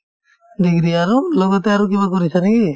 degree আৰু লগতে আৰু কিবা কৰিছা নেকি ?